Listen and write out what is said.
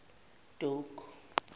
doke